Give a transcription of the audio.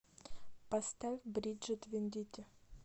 поставь бриджит вендити